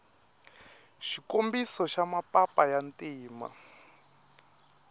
xikombiso xa mapapa ya ntima